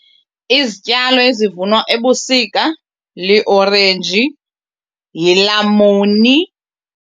Izityalo ezivunwa ebusika liorenji yilamuni.